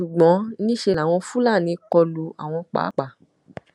ṣùgbọn níṣẹ làwọn fúlàní kọ lu àwọn páàpáà